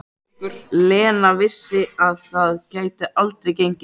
Lena vissi að það gæti aldrei gengið.